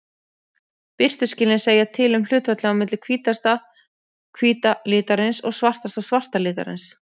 Birtuskilin segja til um hlutfallið á milli hvítasta hvíta litarins og svartasta svarta litarins.